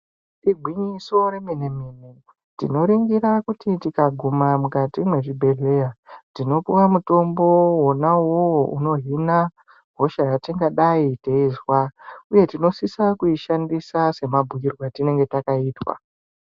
Igwinyiso remene mene, tinoringira kuti tingaguma mukati mwezvibhedhleya tinopuwa mutombo wonauwowo unohina hosha yatingadai teizwa, uye tinosisa kuishandisa semabhuirwe atinenge takaitwa.